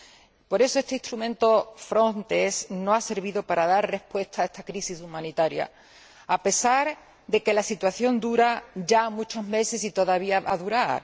aportado. Por eso, este instrumento, Frontex, no ha servido para dar respuesta a esta crisis humanitaria, a pesar de que la situación dura ya muchos meses y todavía va a durar.